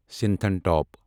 سنِتھن top